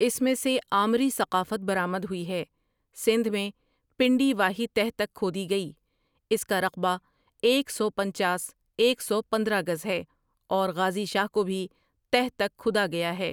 اس میں سے آمری ثقافت برآمد ہوئی ہے سندھ میں پنڈی واہی تہ تک کھودی گئی اس کا رقبہ ایک سو پنچاس ایک سو پندرہ گز ہے اور غازی شاہ کو بھی تہ تک کھدا گیا ہے ۔